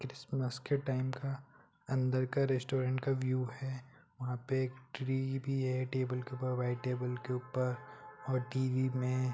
Christmas के time का अन्दर का रेस्टोरेंट का व्यू है वहां पे एक ट्री भी है टेबल के ऊपर वाइट टेबल के ऊपर और टी.वी में--